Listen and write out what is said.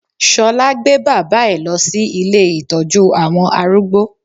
Ṣọlá gbé bàbá ẹ̀ lọ sí ilé ìtọ́jú àwọn arúgbó